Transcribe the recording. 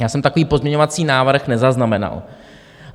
Já jsem takový pozměňovací návrh nezaznamenal.